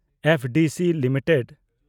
FDC limited